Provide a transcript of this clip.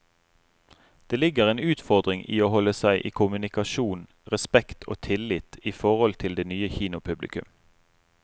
Det ligger en utfordring i å holde seg i kommunikasjon, respekt og tillit i forhold til det nye kinopublikum.